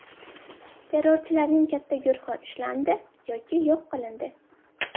Terrorchilarning katta guruhi ushlandi yoki yo‘q qilindi.